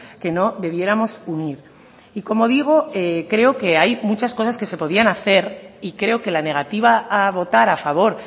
que no debiéramos unir y como digo creo que hay muchas cosas que se podían hacer y creo que la negativa a votar a favor